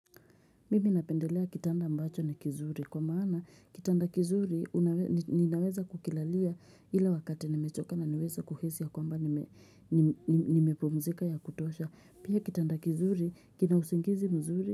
Mimi napendelea kitanda ambacho ni kizuri kwa maana kitanda kizuri ninaweza kukilalia ile wakati nimechoka na naweza kuhisi ya kwamba nimepumzika ya kutosha pia kitanda kizuri kina usingizi mzuri.